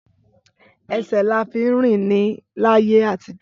Ẹsẹ là fí ń rín ni làyé atijọ.